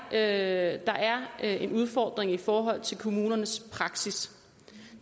at der er en udfordring i forhold til kommunernes praksis